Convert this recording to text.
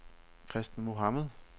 Christen Mohamed